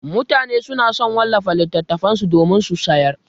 Mutane suna so su wallafa littattafan su domin su sayar.